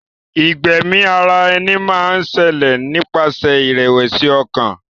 Ìgbẹ́mi ara ẹni máa ń ṣẹlẹ̀ nípasẹ̀ ìrẹ̀wẹ̀sì ọkàn.